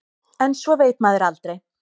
En svo veit maður aldrei.